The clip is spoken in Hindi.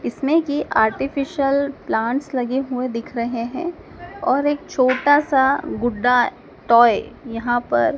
इसमें की आर्टिफिशियल प्लांट्स लगे हुए दिख रहे हैं और एक छोटा सा गुड्डा टॉय यहां पर--